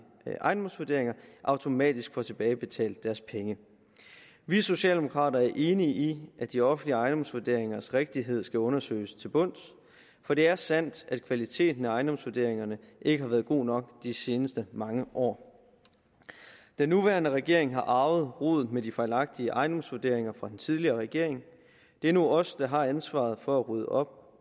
ejendomsvurderinger automatisk får tilbagebetalt deres penge vi socialdemokrater er enige i at de offentlige ejendomsvurderingers rigtighed skal undersøges til bunds for det er sandt at kvaliteten af ejendomsvurderingerne ikke har været god nok de seneste mange år den nuværende regering har arvet rodet med de fejlagtige ejendomsvurderinger fra den tidligere regering det er nu os der har ansvaret for at rydde op